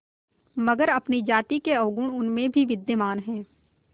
मगर अपनी जाति के अवगुण उनमें भी विद्यमान हैं